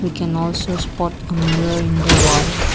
we can also spot a mirror in the wall.